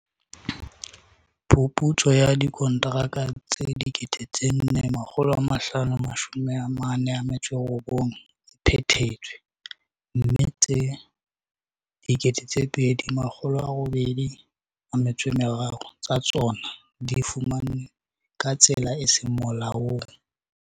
Phuputso ya dikontraka tse 4 549 e phethetswe, mme tse 2 803 tsa tsona di fumanwe ka tsela e seng molaong.